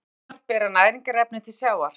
Jökulárnar bera næringarefni til sjávar.